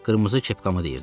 Qırmızı kepkamı deyirdi.